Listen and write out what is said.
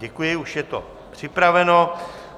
Děkuji, už je to připraveno.